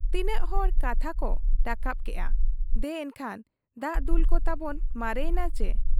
ᱛᱤᱱᱟᱹᱜ ᱦᱚᱲ ᱠᱟᱛᱷᱟ ᱠᱚ ᱨᱟᱠᱟᱵ ᱠᱮᱜ ᱟ ᱫᱮ ᱮᱱᱠᱷᱟᱱ ᱫᱟᱜ ᱫᱩᱞᱠᱚ ᱛᱟᱵᱚᱱ ᱢᱟᱨᱮ ᱮᱱᱟ ᱪᱤ ?